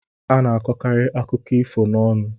A na-akọkarị akụkọ ifo n'ọnụ.